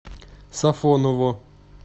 сафоново